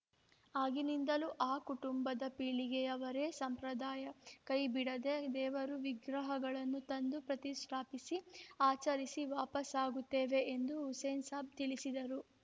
ಆಗಿನಿಂದಲೂ ಆ ಕುಟುಂಬದ ಪೀಳಿಗೆಯವರೇ ಸಂಪ್ರದಾಯ ಕೈಬಿಡದೆ ದೇವರು ವಿಗ್ರಹಗಳನ್ನು ತಂದು ಪ್ರತಿಷ್ಠಾಪಿಸಿ ಆಚರಿಸಿ ವಾಪಸಾಗುತ್ತೇವೆ ಎಂದು ಹುಸೇನ್‌ಸಾಬ್‌ ತಿಳಿಸಿದರು